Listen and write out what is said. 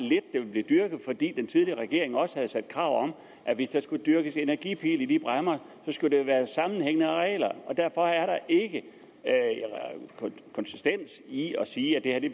ville blive dyrket fordi den tidligere regering også havde stillet krav om at hvis der skulle dyrkes energipil i de bræmmer skulle det være på sammenhængende arealer og derfor er der ikke konsistens i at sige at det